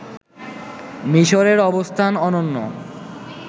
মিসরের অবস্থান অনন্য